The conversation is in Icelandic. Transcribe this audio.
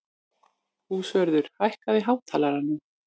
Húnröður, hækkaðu í hátalaranum.